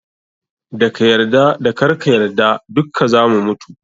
Da ka yarda da karka yarda dukka zamu mutu.